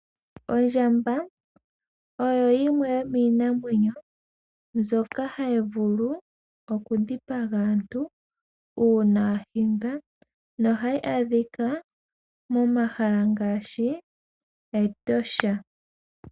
Ondjamba oyo yimwe yomiinamwenyo mbyoka hayi vulu oku dhipaga aantu ya hindwa. Ohayi aadhika momahala ngaashi mEtosha.